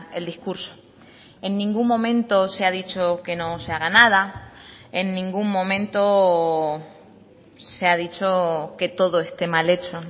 el discurso en ningún momento se ha dicho que no se haga nada en ningún momento se ha dicho que todo esté mal hecho